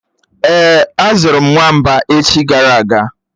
Èé, azụrụ m nwamba echi gara aga